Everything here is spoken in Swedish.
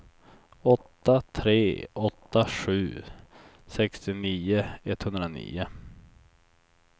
åtta tre åtta sju sextionio etthundranio